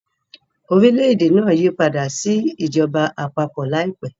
Orílẹ̀-èdè náà yípadà sí ìjọba àpapọ̀ láìpẹ́.